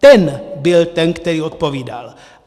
Ten byl ten, který odpovídal.